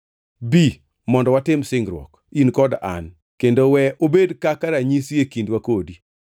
Bi, mondo watim singruok, in kod an, kendo we obed kaka ranyisi e kindwa kodi.”